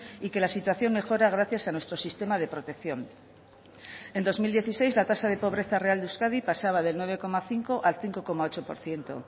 y que la situación mejora gracias a nuestro sistema de protección en dos mil dieciséis la tasa de pobreza real de euskadi pasaba del nueve coma cinco al cinco coma ocho por ciento